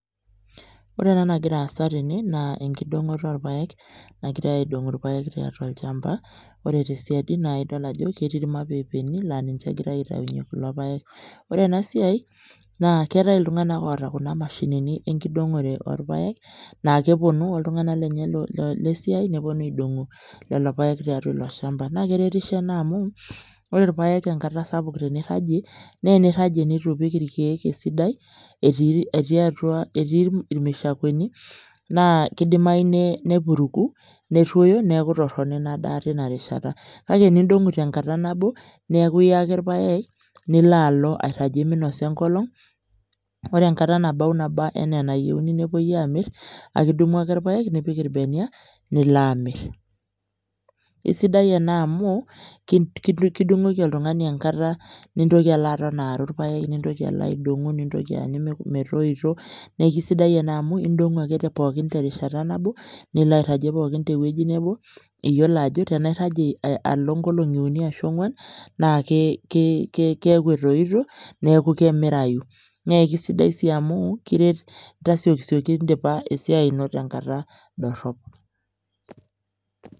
Ore ena nagira aasa tene naa enkidongoto orpaek nagirae aidong irpaek tolchamba. Ore tesiadi naa idol ajo ketii irmapeepeni laa ninche egirae aitayunyie irpaek. Ore ena siai naa keetae iltunganak oota kuna mashinini enkidongore orpaek naa keponu oltunganak lenye le siai neponu aidongu lelo paek tiatua ilo shamba. Naa keretisho ena amu ore irpaek enkata sapuk teniragie , naa teniragie netu ipik irkiek esiai etiia atua, etii irmushakweni naa kidimayu nepuruku , neruoyo , niaku torono ina daa tina rishata. Kake tenidongu tenkata nabo niaku iya ake irpaek nilo alo minosa enkolong. Ore enkata naba anaa enayieuni nepuoi amir , aki idumu ake irpaek , nipik irbenia nilo amir. Isidai ena amu kidungoki oltungani enkata nintoki alo aaru irpaek , nintoki aidongu, nintoki aanyu metoito , niaku kisidai ena amu idongu ake pookin terishata nabo , nilo airagie pookin tewueji nebo, iyiolo ajo tenairagie alo nkolongi uni ashu ongwan naa keaku ki ki keaku etoito niaku kemirayu . Naa kisidai sii amu kiret tasiokisioki indipa esiai ino tenkata dorop.